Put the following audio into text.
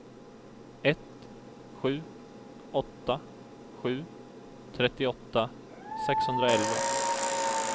ett sju åtta sju trettioåtta sexhundraelva